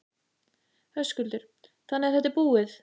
Höskuldur: Þannig að þetta er búið?